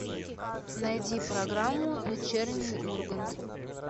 найди программу вечерний ургант